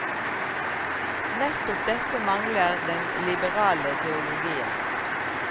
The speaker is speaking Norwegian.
Nettopp dette mangler den liberale teologien.